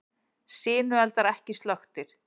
Sinueldar ekki slökktir